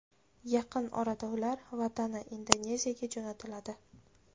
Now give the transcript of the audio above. Yaqin orada ular vatani, Indoneziyaga jo‘natiladi.